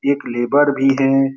एक लेबर भी हैं।